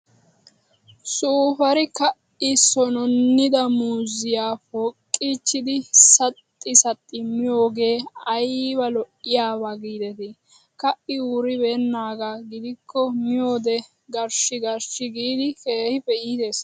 suupaari ka'i sonnonnida muuziyaa poqqichchidi saxxi saxxi miyoogee ayiba lo'iyaaba giideti. Ka'i wuribeennaaga gidikko miyoode garshshi garshshi giidi keehippe iites.